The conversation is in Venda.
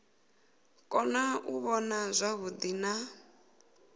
kona u vhona zwavhuḓi na